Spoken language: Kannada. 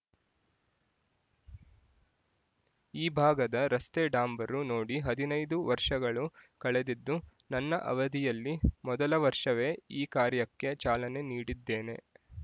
ಈ ಭಾಗದ ರಸ್ತೆ ಡಾಂಬರು ನೋಡಿ ಹದಿನೈದು ವರ್ಷಗಳು ಕಳೆದಿದ್ದು ನನ್ನ ಅವಧಿಯಲ್ಲಿ ಮೊದಲ ವರ್ಷವೇ ಈ ಕಾರ್ಯಕ್ಕೆ ಚಾಲನೆ ನೀಡಿದ್ದೇನೆ